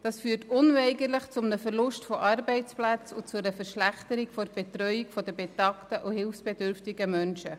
Dies führt unweigerlich zum Verlust von Arbeitsplätzen und einer Verschlechterung der Betreuung von betagten und hilfsbedürftigen Menschen.